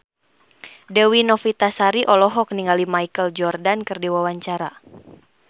Dewi Novitasari olohok ningali Michael Jordan keur diwawancara